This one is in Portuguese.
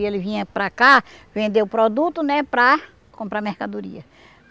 E ele vinha para cá vender o produto, né, para comprar mercadoria.